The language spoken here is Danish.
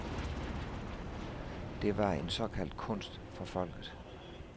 Det var en såkaldt kunst for folket.